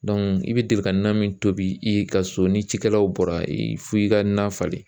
i bɛ deli ka na min tobi i ka so ni cikɛlaw bɔra f'i ka na falen